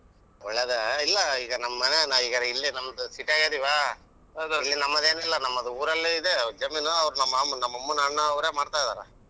ಒಳ್ಳೇದೇ ಇಲ್ಲ ಈಗ ನಮ್ ಮನೆ ನಾವಿಗರ ನಮ್ದು city ಅದಿವಾ ಇಲ್ಲಿ ನಮದೇನಿಲ್ಲ ನಮ್ದ ಉರಲ್ಲೆ ಇದೆ ಜಮೀನು ಅವ್ರು ಮಾಮ್ ನಮ್ಮನ್ ಅಣ್ಣಾ ಅವ್ರೆ ಮಾಡ್ತಾ ಇದ್ದಾರೆ.